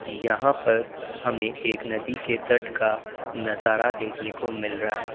यहां पर हमें एक नदी के तट का नजारा देखने को मिल रहा है।